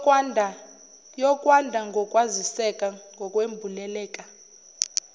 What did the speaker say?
yokwanda kokwaziseka ngokwembuleleka